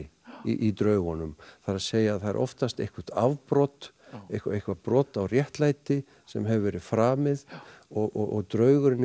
í draugunum það er að segja það er oftast eitthvert afbrot eitthvað eitthvað brot á réttlæti sem hefur verið framið og draugurinn er